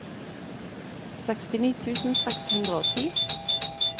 sekstini tusen seks hundre og ti